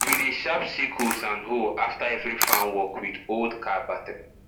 we dey sharp sickles and hoe after every farm work wit old car battery